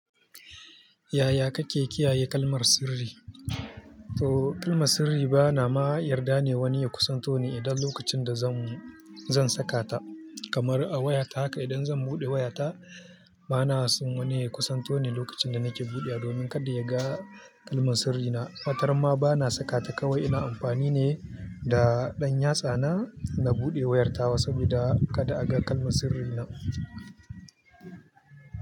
Yaya kake kiyaye kalmar sirri? To kalmar sirri bana ma yarda ne wani ya kusanto ni idan lokacin da zan, zan saka ta. Kamar a waya ta haka idan zan buɗe wayata bana son wani ya kusanto ni lokacin da nake buɗe domin kada ya ga kalmar sirrina. Watar ma bana saka ta kawai ina amfani ne da ɗan yatsa na, na buɗe wayar tawa saboda kada a ga kalmar sirrina.